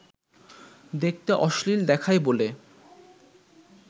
দেখতে অশ্লীল দেখায় বলে